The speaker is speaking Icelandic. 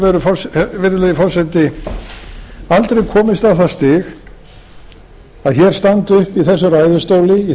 raun og veru virðulegi forseti aldrei komist á það stig að hér standi uppi í þessum ræðustóli í